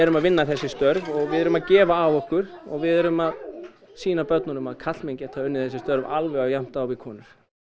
að vinna þessi störf og við erum að gefa af okkur og við erum að sýna börnunum að karlmenn geta unnið þessi störf alveg jafnt á við konur